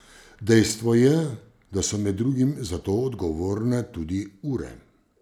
Dejstvo je, da so med drugim za to odgovorne tudi ure.